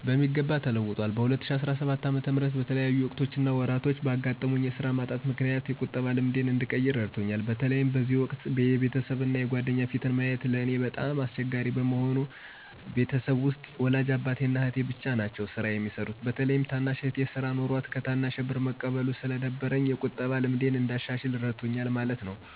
በሚገባ ተለውጠዋል። በ2017 ዓ/ም በተለያዩ ወቅቶች እና ወራቶች ባጋጠመኝ የስራ ማጣት ምክንያት የቁጠባ ልማዴን እንድቀይር እረድቶኛል። በተለይ በዚህ ወቅት የቤተሰብ እና የጓደኛ ፊትን ማየት ለእኔ በጣም አስቸጋሪ በመሆኑ እና ከቤተሰቤ ውስጥ ወላጅ አባቴ እና አህቴ ብቻ ናቸው ስራ የሚሰሩት። በተለይም ታናሽ እህቴ ስራ ኖሯት እኔ ከታናሼ ብር መቀበሉ ስለደበረኝ የቁጠባን ልምዴን እንዳሻሽል እረድቶኛል ማለት ነው።